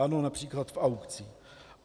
Ano, například v aukcích.